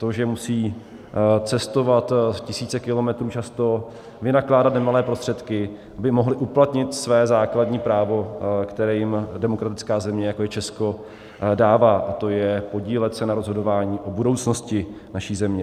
To, že musí cestovat tisíce kilometrů často, vynakládat nemalé prostředky, aby mohli uplatnit své základní právo, které jim demokratická země, jako je Česko, dává, a to je podílet se na rozhodování o budoucnosti naší země.